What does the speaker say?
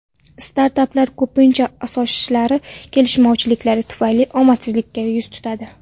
Startaplar ko‘pincha asoschilari kelishmovchiliklari tufayli omadsizlikka yuz tutadi.